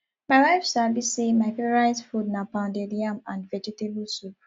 my wife sabi sey my favourite food na pounded yam and vegetable soup